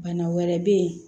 Bana wɛrɛ bɛ yen